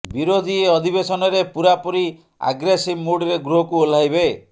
ବିରୋଧୀ ଏ ଅଧିବେଶନରେ ପୂରାପୁରି ଆଗ୍ରେସିଭ ମୁଡରେ ଗୃହକୁ ଓହ୍ଲାଇବେ